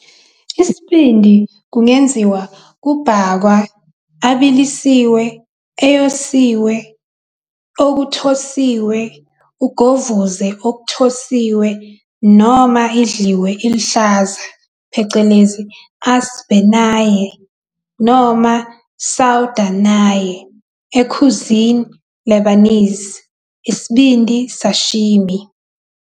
Isibindi kungenziwa kubhakwa, abilisiwe, eyosiwe, okuthosiwe, ugovuze okuthosiwe, noma idliwe iluhlaza phecelezi asbeh nayeh" noma "sawda Naye" e cuisine Lebanese, isibindi sashimi.